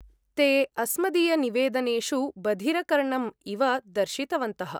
ते अस्मदीयनिवेदनेषु बधिरकर्णम् इव दर्शितवन्तः।